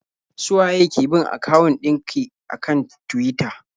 Su waye ki bin akawun ɗin ki a kan Tuwita?